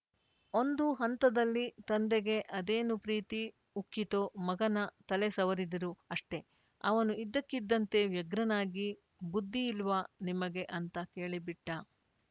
ಒಂದು ಹಂತದಲ್ಲಿ ತಂದೆಗೆ ಅದೇನು ಪ್ರೀತಿ ಉಕ್ಕಿತೋ ಮಗನ ತಲೆ ಸವರಿದರು ಅಷ್ಟೇ ಅವನು ಇದ್ದಕ್ಕಿದ್ದಂತೆ ವ್ಯಗ್ರನಾಗಿ ಬುದ್ಧಿ ಇಲ್ವಾ ನಿಮಗೆ ಅಂತ ಕೇಳಿಬಿಟ್ಟ